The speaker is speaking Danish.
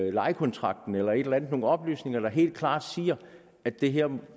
i lejekontrakten eller et eller andet altså nogle oplysninger der helt klart siger at det her